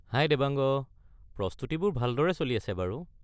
হাই দেৱাংগ, প্ৰস্তুতিবোৰ ভালদৰে চলি আছে বাৰু।